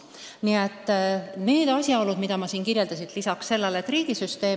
Kõik need asjaolud, mida ma siin märkisin, ei ole vähetähtsad.